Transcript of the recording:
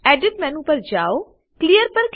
edit menu પર જાઓ clear